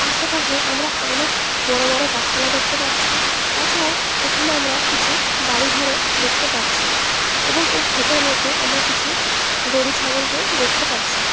আশেপাশে আমরা অনেক বড় বড় গাছপালা দেখতে পাচ্ছি তাছাড়াও এখানে আমরা কিছু বাড়িঘরও দেখতে পাচ্ছি এবং এই খেতের মধ্যে আমরা কিছু গরু ছাগলকেও দেখতে পাচ্ছি ।